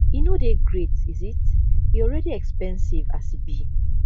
e no dey great is it e already expensive as e be